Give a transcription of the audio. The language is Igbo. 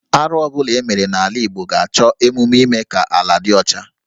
Arụ ọ bụla e mere n’ala Igbo ga-achọ emume ime ka ala dị ọcha